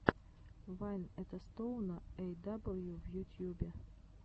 вайн этостоуна эй дабл ю в ютьюбе